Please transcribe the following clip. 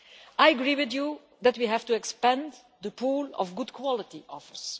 I agree with you that we have to expand the pool of good quality offers.